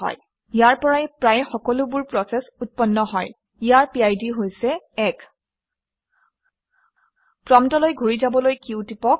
ইয়াৰ পৰাই প্ৰায় সকলোবোৰ প্ৰচেচ উৎপন্ন হয় ইয়াৰ এটা 1 বিশিষ্ট পিড আছে। প্ৰম্পটলৈ ঘূৰি যাবলৈ q টিপক